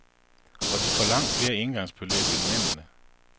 Og de får langt flere engangsbeløb end mændene.